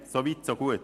So weit, so gut.